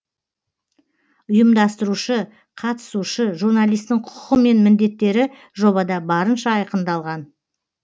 ұйымдастырушы қатысушы журналистің құқығы мен міндеттері жобада барынша айқындалған